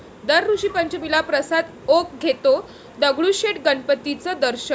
दर ऋषीपंचमीला प्रसाद ओक घेतो दगडूशेठ गणपतीचं दर्शन